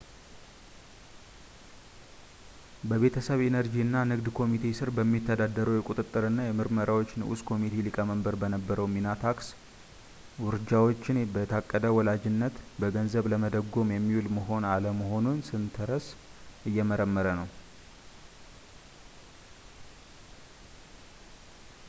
በቤተሰብ ኢነርጂ እና ንግድ ኮሚቴ ሥር በሚተዳደረው የቁጥጥር እና ምርመራዎች ንዑስ ኮሚቴ ሊቀመንበር በነበረው ሚና ታክስ ውርጃዎችን በየታቀደ ወላጅነት በገንዘብ ለመደጎም የሚውል መሆን አለመሆኑን ስተርንስ እየመረመረ ነው